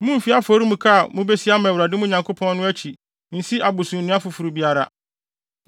Mummfi afɔremuka a mubesi ama Awurade, mo Nyankopɔn no, akyi nsi abosonnua foforo biara,